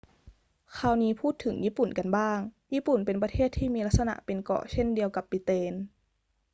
คราวนี้พูดถึงญี่ปุ่นกันบ้าง ญี่ปุ่นเป็นประเทศที่มีลักษณะเป็นเกาะเช่นเดียวกับบริเตน